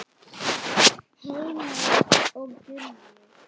Heimir og Gunnur.